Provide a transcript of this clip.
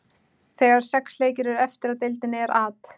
Þegar sex leikir eru eftir af deildinni er At.